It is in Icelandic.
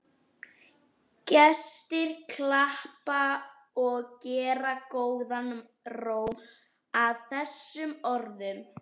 Gestir klappa og gera góðan róm að þessum orðum.